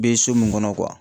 Be so min kɔnɔ